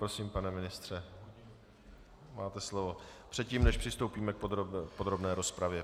Prosím, pane ministře, máte slovo předtím, než přistoupíme k podrobné rozpravě.